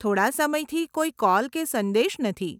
થોડાં સમયથી, કોઈ કોલ કે સંદેશ નથી.